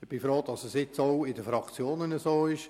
Ich bin nun froh, dass dies auch in den Fraktionen so ist.